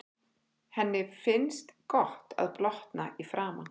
Henni finnst gott að blotna í framan.